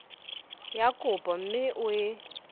ya kopo mme o e